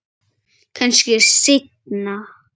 Kannski seinna.